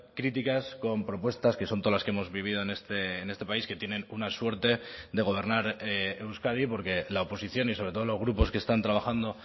críticas con propuestas que son todas las que hemos vivido en este país que tienen una suerte de gobernar euskadi porque la oposición y sobre todo los grupos que están trabajando